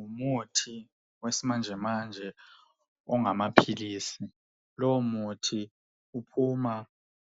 Umuthi wesimanjemanje ungamaphilisi. Lowo muthi uphuma